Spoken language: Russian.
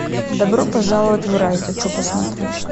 добро пожаловать в рай хочу посмотреть